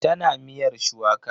Tana miyar shuwaka.